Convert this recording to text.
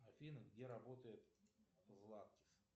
афина где работает златкис